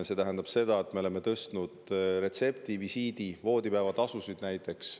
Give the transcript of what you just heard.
See tähendab seda, et me oleme tõstnud retsepti-, visiidi- ja voodipäevatasusid.